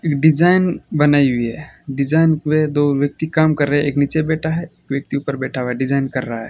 एक डिजाइन बनाई हुई है डिजाइन पे दो व्यक्ति काम कर रहे है एक नीचे बैठा है एक व्यक्ति उपर बैठा हुआ है डिजाइन कर रहा है।